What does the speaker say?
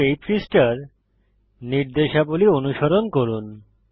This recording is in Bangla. শুধু এই পৃষ্ঠার নির্দেশাবলী অনুসরণ করুন